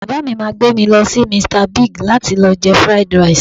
Bàbá mi máa gbé mi lọ sí Mr Big láti lọ jẹ Fried Rice